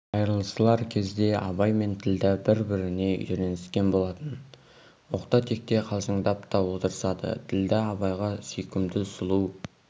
айрылысар кезде абай мен ділдә бір-біріне үйреніскен болатын оқта-текте қалжыңдап та отырысады ділдә абайға сүйкімді сұлу